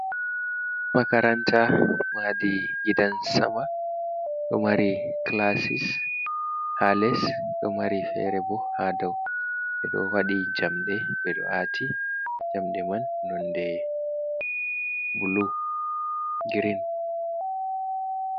Makaranta mahdi gidan sama ɗo mari clasis ha les do mari fere bo ha dau ɓe ɗo waɗi jamɗe be do ati jamɗe man nonde grin.